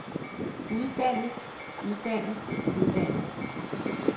uddannet uddannet uddannet